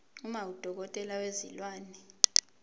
uma udokotela wezilwane